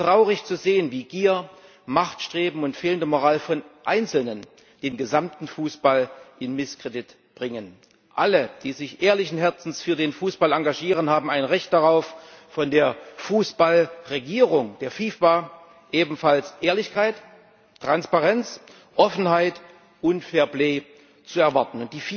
Es ist traurig zu sehen, wie Gier, Machtstreben und fehlende Moral von Einzelnen den gesamten Fußball in Misskredit bringen. Alle, die sich ehrlichen Herzens für den Fußball engagieren, haben ein Recht darauf, von der Fußball Regierung der FIFA ebenfalls Ehrlichkeit, Transparenz, Offenheit und fair play zu erwarten.